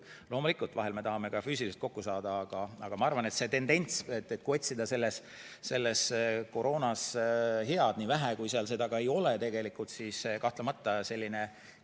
Loomulikult vahel me tahame ka füüsiliselt kokku saada, aga ma arvan, et kui otsida selles koroonas head, nii vähe, kui seal seda on, siis kahtlemata Teamsi areng.